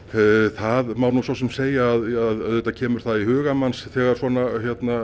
það má nú svo sem segja auðvitað kemur það í hugann manns þegar svona